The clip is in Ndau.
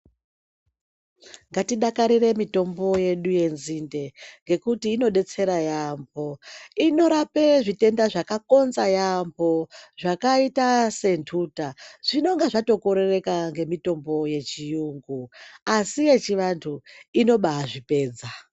Ngati dakarira rireyi mitombo yedu yenzinde nekuti ngekuti inodetsera yambo inorape zvitenda zvakakonza yambo zvakaita sentuta izvnonga zvakorereka ngemitombo yechiyungu asi yechivantu inoba zvipedza.